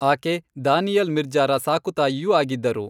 ಆಕೆ ದಾನಿಯಲ್ ಮಿರ್ಜಾರ ಸಾಕು ತಾಯಿಯೂ ಆಗಿದ್ದರು.